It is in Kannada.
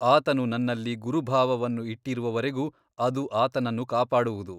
ಆತನು ನನ್ನಲ್ಲಿ ಗುರುಭಾವವನ್ನು ಇಟ್ಟಿರುವವರೆಗೂ ಅದು ಆತನನ್ನು ಕಾಪಾಡುವುದು.